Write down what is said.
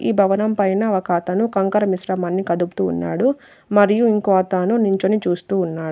ఈ భవనం పైన ఒకతను కంకర మిశ్రమాన్ని కదుపుతూ ఉన్నాడు మరియు ఇంకో అతను నిల్చొని చూస్తూ ఉన్నాడు.